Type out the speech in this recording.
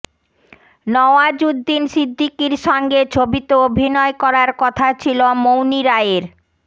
নওয়াজউদ্দিন সিদ্দিকির সঙ্গে ছবিতে অভিনয় করার কথা ছিল মৌনী রায়ের